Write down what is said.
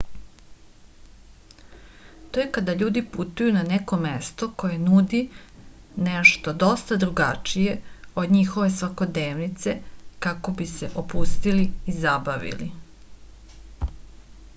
to je kada ljudi putuju na neko mesto koje nudi nešto dosta drugačije od njihove svakodnevnice kako bi se opustili i zabavili